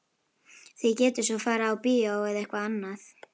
Þið getið svo farið á bíó eða eitthvað annað.